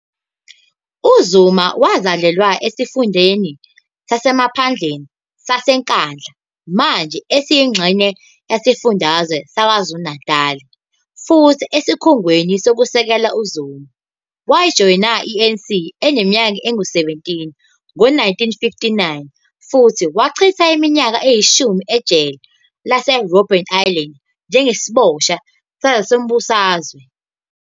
UZuma wazalelwa esifundeni sasemaphandleni saseNkandla, manje esiyingxenye yesifundazwe saKwaZulu-Natal futhi esikhungweni sokusekela uZuma. Wajoyina i-ANC eneminyaka engu-17 ngo-1959 futhi wachitha iminyaka eyishumi ejele LaseRobben Island njengesiboshwa sezombusazwe.